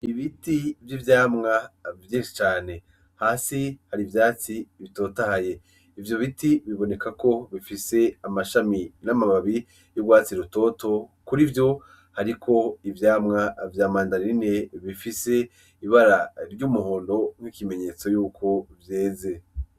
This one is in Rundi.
Ibiti vy'ivyamwa vyinshi cane hasi hari ivyatsi bitotahaye ivyo biti biboneka ko bifise amashami n'amababi vy'ugwatsi rutoto kurivyo hariko ivyamwa vya mandarine bifise ibara ry'umuhondo ikimenyetso yuko vyeze.